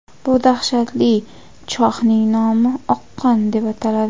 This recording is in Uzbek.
Bu dahshatli chohning nomi – oqqon deb ataladi.